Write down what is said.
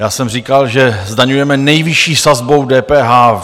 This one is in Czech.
Já jsem říkal, že zdaňujeme nejvyšší sazbou DPH.